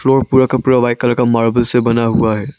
Floor पूरा का पूरा व्हाइट कलर के मार्बल से बना हुआ है।